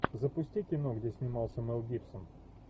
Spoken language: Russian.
запусти кино где снимался мел гибсон